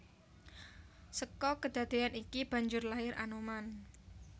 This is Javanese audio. Seka kedadeyan iki banjur lair Anoman